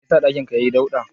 Me yasa ɗakin ka yai dauɗa?